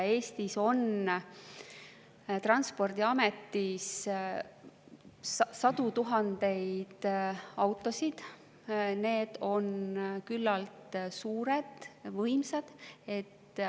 Eestis on Transpordiametis sadu tuhandeid autosid ja need on küllalt suured, võimsad.